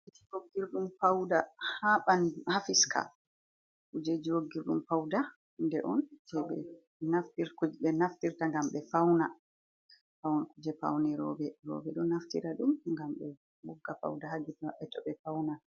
Wogirɗum pawda haa ɓanndu, haa fiska kuje, woggirɗum pawda hunde on, ɓe naftirta ngam ɓe fawna, jey pawne rowɓe. Rowɓe ɗo naftira ɗum, ngam be wogga pawda, haa gite maɓɓe to ɓe fawnan.